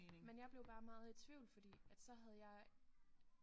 Men jeg blev bare meget i tvivl fordi at så havde jeg